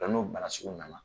Ŋa n'o bana sugu nana